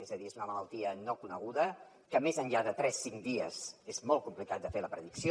és a dir és una malaltia no coneguda i més enllà de tres cinc dies és molt complicat fer la predicció